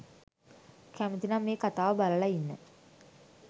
කැමති නම් මේ කතාව බලල ඉන්න